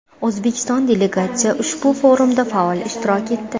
O‘zbekiston delegatsiya ushbu forumda faol ishtirok etdi.